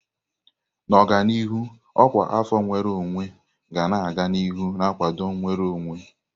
N'ọdịnihu, ọkwa afọ nnwere onwe ga-aga n'ihu na-akwado nnwere onwe.